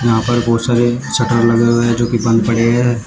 यहां पर बहोत सारे शटर लगे हुए हैं जोकि बंद पड़े हैं।